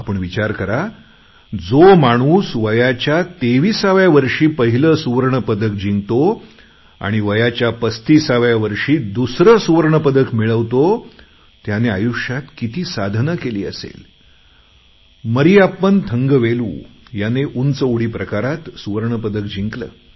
आपण विचार करा जो माणूस वयाच्या तेविसाव्या वर्षी पहिले सुवर्णपदक जिंकतो आणि पस्तिसाव्या वर्षी दुसरं सुवर्णपदक मिळवतोत्याने आयुष्यात किती साधना केली असेल मरीयप्पन थंगवेलू याने उंच उडी प्रकारात सुवर्ण पदक जिंकले